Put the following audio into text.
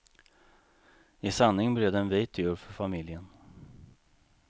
I sanning blev det en vit jul för familjen.